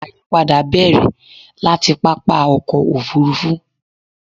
àyípadà bẹ̀rẹ̀ láti pápá ọkọ̀ òfurufú